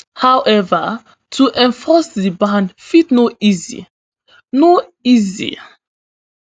however to enforce di ban fit no easy no easy